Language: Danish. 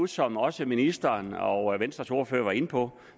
som også ministeren og venstres ordfører var inde på